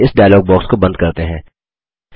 चलिए इस dialog box को बंद करते हैं